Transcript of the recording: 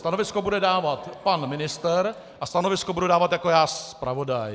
Stanovisko bude dávat pan ministr a stanovisko budu dávat já jako zpravodaj.